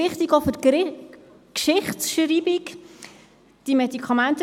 Ich gebe Grossrat Gnägi das Wort, wenn er sich einloggt.